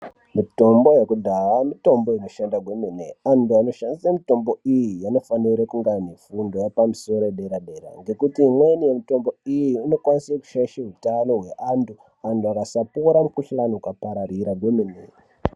Mutombo yekudhaya mitombo inoshanda kwemene antu anoshandise mutombo iyi anofanire kunge aine fundo aipamusoro dera dera ngekuti imweni yemitombo iyi inokwanise kushaishe utano hweantu antu akasapora mukhuhlani ukapararira kwemene.